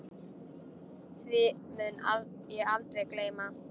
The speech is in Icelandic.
Því mun ég aldrei gleyma.